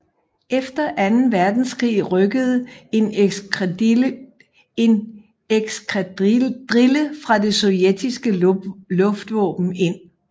Efter anden verdenskrig rykkede en eskadrille fra det Sovjetiske luftvåben ind